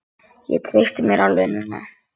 Ég treysti mér alveg núna!